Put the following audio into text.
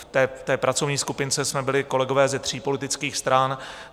V té pracovní skupince jsme byli kolegové ze tří politických stran.